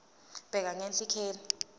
bheka ngenhla ikheli